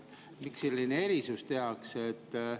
Miks selline erisus tehakse?